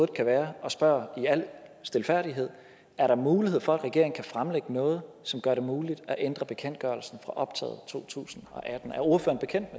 kan være og spørger i al stilfærdighed er der mulighed for at regeringen kan fremlægge noget som gør det muligt at ændre bekendtgørelsen for optaget 2018 er ordføreren bekendt